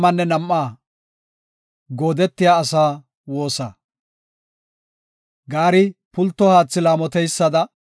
Gaari pulto haathi laamoteysada, Xoossaw, ta shempiya nena laamotawusu.